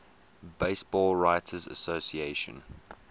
baseball writers association